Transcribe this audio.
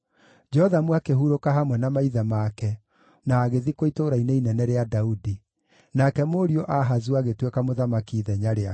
Jothamu akĩhurũka hamwe na maithe make na agĩthikwo Itũũra-inĩ Inene rĩa Daudi. Nake mũriũ Ahazu agĩtuĩka mũthamaki ithenya rĩake.